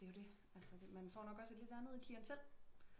Det er jo det altså man får nok også et lidt andet klientel